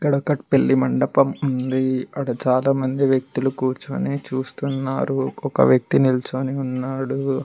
ఇక్కడొక పెళ్లి మండపం ఉంది ఇక్కడ చాలా మంది వ్యక్తులు కూర్చుని చూస్తున్నారు ఒక వ్యక్తి నిల్చోని ఉన్నాడు.